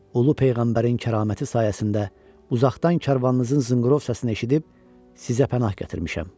Ulu peyğəmbərin kəraməti sayəsində uzaqdan karvanınızın zınqrov səsini eşidib sizə pənah gətirmişəm.